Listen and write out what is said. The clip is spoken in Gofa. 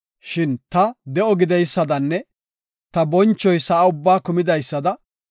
Shin ta de7o gideysadanne ta bonchoy sa7a ubbaa kumidaysada,